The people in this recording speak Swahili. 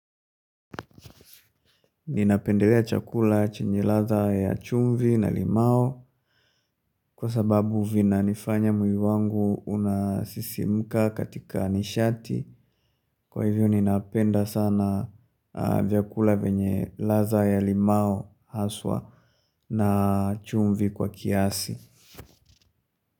Ninapendelea chakula chenye ladha ya chumvi na limao kwa sababu vina nifanya mwili wangu unasisimuka katika nishati kwa hivyo ninapenda sana vyakula venye ladha ya limao haswa na chumvi kwa kiasi.